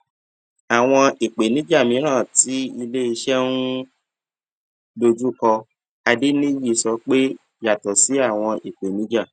àwọn ìpèníjà mìíràn tí ilé iṣé ń um dojú kọ adeniji sọ pé yàtọ sí àwọn ìpèníjà